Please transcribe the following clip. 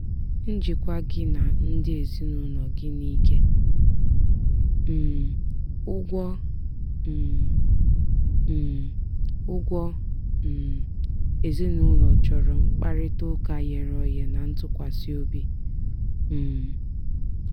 njikwa gị na ndị ezinụlọ gị n'ike um ụgwọ um um ụgwọ um ezinụlọ chọrọ mkparịtaụka ghere oghe na ntụkwasị obi. um